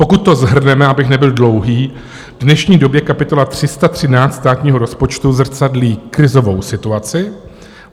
Pokud to shrneme, abych nebyl dlouhý, v dnešní době kapitola 313 státního rozpočtu zrcadlí krizovou situaci.